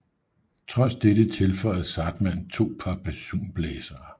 Trods dette tilføjede Zahrtmann to par basunblæsere